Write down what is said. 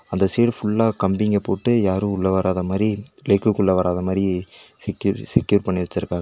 அந்த சைடு ஃபுல்லா கம்பிங்க போட்டு யாரு உள்ள வராத மாரி லேக்குகுள்ள வராத மாரி செக்யூ செக்யூர் பண்ணி வச்சிருக்காங்க.